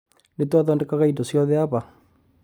Nĩ twathondekaga indo ciothe haha.